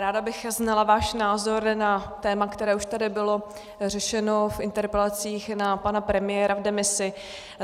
Ráda bych znala váš názor na téma, které už tady bylo řešeno v interpelacích na pana premiéra v demisi.